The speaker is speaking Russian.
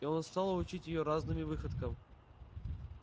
и он стал учить её разными выходкам